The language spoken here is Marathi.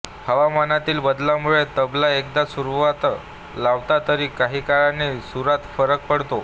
हवामानातील बदलामुळे तबला एकदा सुरावर लावला तरी काही काळाने सुरात फरक पडतो